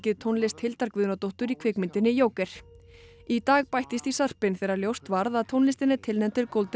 tónlist Hildar Guðnadóttur í kvikmyndinni Joker í dag bættist í sarpinn þegar ljóst varð að tónlistin er tilnefnd til